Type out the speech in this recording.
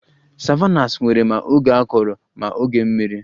Savannahs nwere ma oge akọrọ na oge mmiri